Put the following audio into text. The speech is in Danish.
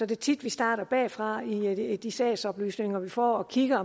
det tit vi starter bagfra i de sagsoplysninger vi får og kigger